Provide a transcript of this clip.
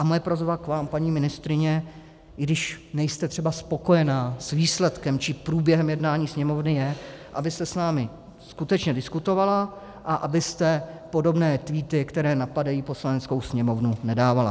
A moje prosba k vám, paní ministryně, i když nejste třeba spokojena s výsledkem či průběhem jednání Sněmovny, je, abyste s námi skutečně diskutovala a abyste podobné tweety, které napadají Poslaneckou sněmovnu, nedávala.